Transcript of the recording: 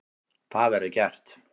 Það verður gert.